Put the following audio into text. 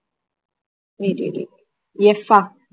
wait wait waitF ah